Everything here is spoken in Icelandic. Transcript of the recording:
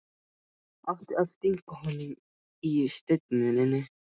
Átti að stinga honum í Steininn?